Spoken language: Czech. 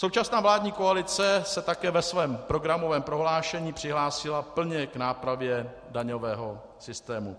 Současná vládní koalice se také ve svém programovém prohlášení přihlásila plně k nápravě daňového systému.